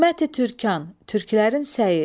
Himməti Türkan, türklərin səyi.